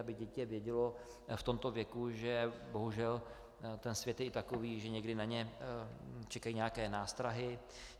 Aby dítě vědělo v tomto věku, že bohužel ten svět je i takový, že někdy na něj čekají nějaké nástrahy.